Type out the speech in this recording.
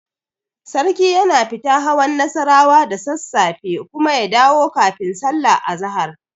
Sarki yana fita hawan Nassarawa da sassafe kuma ya dawo kafin sallar azahar.